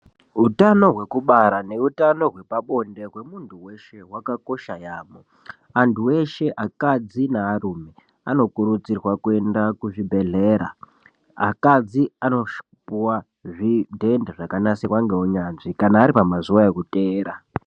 Utano hwekubara neutano hwepabonde hwemuntu weshe wakakoshera yaamho antu eshe akadzi nearume anokurudzirwa kuenda kuzvibhedhlera akadzi anopuwa zvidhende zvakanasirwa ngeunyanzvi kana ari pamazuwa ekuteera.